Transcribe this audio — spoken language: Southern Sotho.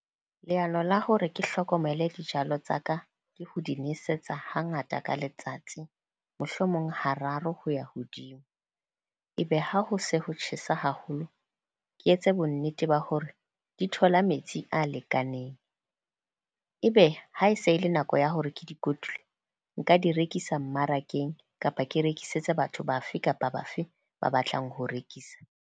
Leano la hore ke hlokomele dijalo tsa ka ke ho di nwesetsa hangata ka letsatsi, mohlomong ha raro ho ya hodimo. E be ha ho se ho tjhesa haholo, ke etse bonnete ba hore di thola metsi a lekaneng. Ebe ha e se e le nako ya hore ke di kotule, nka di rekisa mmarakeng, kapa ke rekisetse batho bafe kapa bafe ba batlang ho rekisa.